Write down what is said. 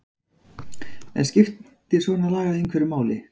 En skiptir svona lagað einhverju máli?